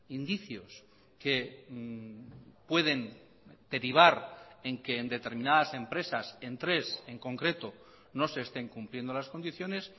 indicios que pueden derivar en que en determinadas empresas en tres en concreto no se estén cumpliendo las condiciones